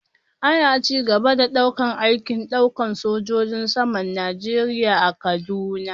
Ana ci gaba da daukar aikin daukar sojojin saman Najeriya a kaduna